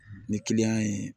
Ni kiliyan ye